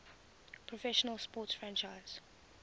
professional sports franchise